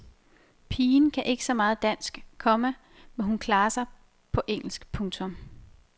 Pigen kan ikke så meget dansk, komma men hun klarer sig på engelsk. punktum